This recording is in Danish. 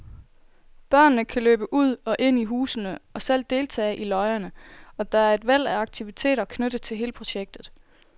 Børnene kan løbe ud og ind i husene og selv deltage i løjerne, og der er et væld af aktiviteter knyttet til hele projektet.